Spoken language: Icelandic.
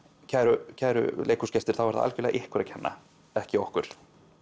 kæru kæru leikhúsgestir þá er það algjörlega ykkur að kenna ekki okkur